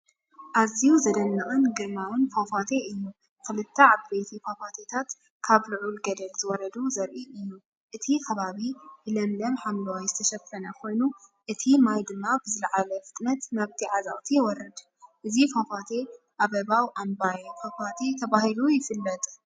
ኣዝዩ ዝድነቕን ግርማዊን ፏፏቴ እዩ! ክልተ ዓበይቲ ፏፏቴታት ካብ ልዑል ገደል ዝወረዱ ዘርኢ እዩ። እቲ ከባቢ ብለምለም ሓምላይ ዝተሸፈነ ኮይኑ፡ እቲ ማይ ድማ ብዝለዓለ ፍጥነት ናብቲ ዓዘቕቲ ይወርድ። እዚ ፏፏቴ ኣበባው ኣምባየ ፏፏቴ ተባሂሉ ይፍለጥ።